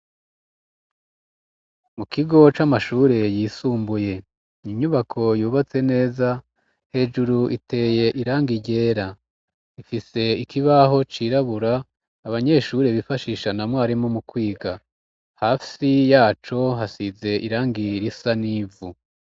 Mu kigo c'amashure yisumbuye inyubako yubatse neza hejuru iteye irangi ryera ifise ikibaho cirabura abanyeshure bifashisha na mwarimu mu kwiga hafi yaco hasize irangi risa n'ivu.